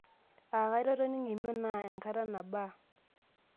Aakata itoning'o emion naa enkata nabaa?